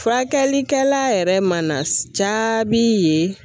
Furakɛlikɛla yɛrɛ mana jaabi ye